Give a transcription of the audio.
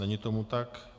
Není tomu tak.